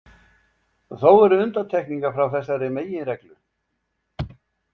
Þó eru undantekningar frá þessari meginreglu.